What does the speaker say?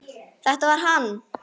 Þetta var hann!